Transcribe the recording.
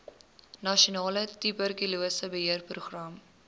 nasionale tuberkulose beheerprogram